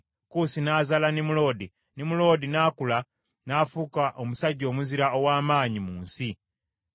Kuusi n’azaala Nimuloodi, Nimuloodi n’akula n’afuuka omusajja omuzira ow’amaanyi mu nsi.